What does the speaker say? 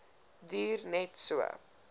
duur net so